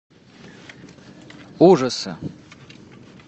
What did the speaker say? ужасы